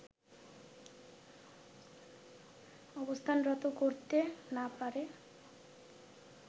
অবস্থানরত করতে না পারে